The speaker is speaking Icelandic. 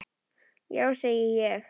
Já, segi ég.